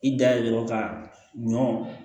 I da ye dɔrɔn ka ɲɔ